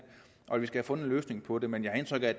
og at vi skal have fundet en løsning på det men jeg har indtryk af